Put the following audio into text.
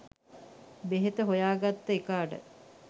බෙහෙත හොයාගත්ත එකාට